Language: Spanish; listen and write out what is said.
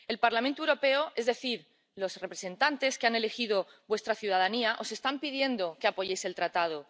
El Parlamento Europeo, es decir, los representantes que han elegido vuestra ciudadanía, os están pidiendo que apoyéis el tratado.